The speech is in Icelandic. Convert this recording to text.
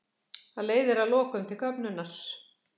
það leiðir að lokum til köfnunar